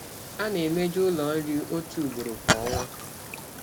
A na-emeju ụlọ nri otu ugboro kwa ọnwa.